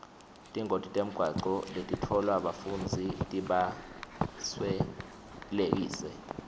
tingoti temgwaco letitfolwa bafundzi tibaswelekise